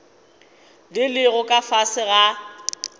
di lego ka fase ga